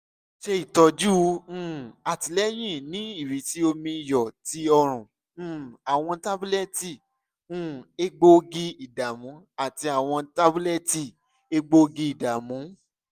ṣe itọju um atilẹyin ni irisi omi iyọ ti ọrùn um awọn tabulẹti um egboogi-idamu ati awọn tabulẹti egboogi-idamu